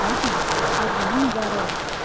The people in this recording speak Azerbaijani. Ay gün, ad günün mübarək olsun.